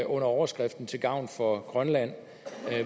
overskriften til gavn for grønland